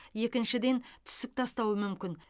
екіншіден түсік тастауы мүмкін